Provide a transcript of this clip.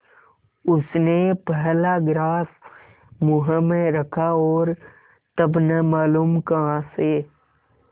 उसने पहला ग्रास मुँह में रखा और तब न मालूम कहाँ से